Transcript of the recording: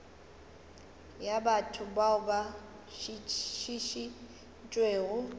ya batho bao ba šišintšwego